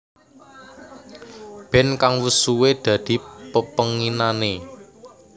Band kang wus suwe dadi pepenginané